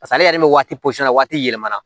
Paseke ale yɛrɛ bɛ waati posegin na waati yɛlɛma na